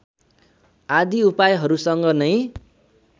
आदि उपायहरुसँग नै